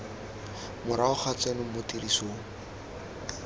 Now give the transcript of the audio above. morago ga tseno mo tirisong